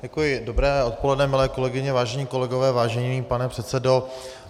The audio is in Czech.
Dobré odpoledne, milé kolegyně, vážení kolegové, vážený pane předsedo.